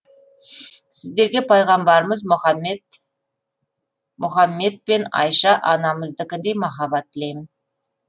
сіздерге пайғамбарымыз мұхәммед мен айша анамыздікіндей махаббат тілеймін